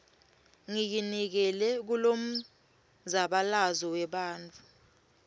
ngiyinikele kulomzabalazo webantfu